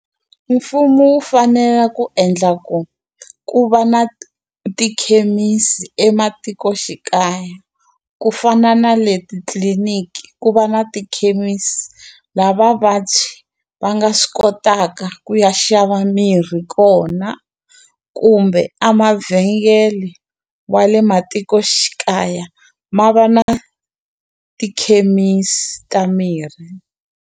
Mfumo wu fanela ku endla ku ku va na tikhemisi ematikoxikaya ku fana na le titliliniki ku va na tikhemisi lava vabyi va nga swi kotaka ku ya xava mirhi kona kumbe a mavhengele wa le matikoxikaya ma va na tikhemisi ta mirhi.